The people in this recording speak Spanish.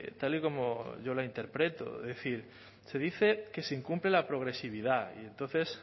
tal y como yo la interpreto es decir se dice que se incumple la progresividad y entonces